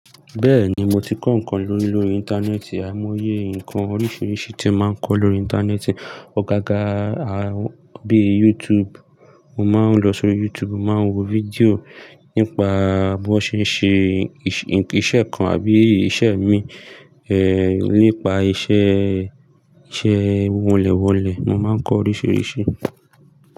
Bẹ́ẹ̀ni, mo ti kọ́ nǹkan lórí lórí Íńtánẹ́ẹ̀tì, ài mo oyé nǹkan oríṣìíríṣìí tí mo máa ń kọ́ lórí Íńtánẹ́ẹ̀tì. Ọ̀gága, bíi YouTube, mo máa ń lọ sórí YouTube, mo máa ń wo fídíò nípa bí wọ́n ṣe ń ṣe iṣẹ́ kan àbí iṣẹ́ mi, ẹ́, nípa iṣẹ́, iṣẹ́ wọnlẹ̀ wọ̀nlẹ̀ mo máa ń kọ́ oríṣìíríṣìí.